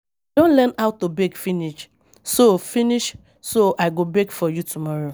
I don learn how to bake finish so finish so I go bake for you tomorrow